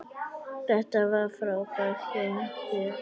Þetta var frábært hjá þér!